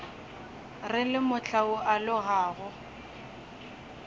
re le mohla o alogago